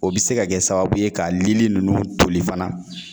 O bɛ se ka kɛ sababu ye ka Lili ninnu toli fana